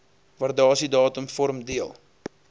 waardasiedatum vorm deel